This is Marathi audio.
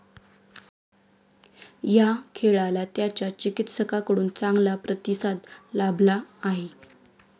या खेळाला त्याच्या चिकित्सकांकडून चांगला प्रतिसाद लाभला आहे.